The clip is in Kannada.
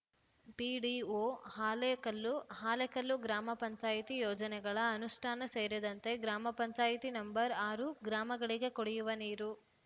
ಪಿಡಿಒ ಹಾಲೇಕಲ್ಲು ಹಾಲೇಕಲ್ಲು ಗ್ರಾಮ ಪಂಚಾಯಿತಿ ಯೋಜನೆಗಳ ಅನುಷ್ಠಾನ ಸೇರಿದಂತೆ ಗ್ರಾಮ ಪಂಚಾಯತಿ ನಂಬರ್ ಆರು ಗ್ರಾಮಗಳಿಗೆ ಕುಡಿಯುವ ನೀರು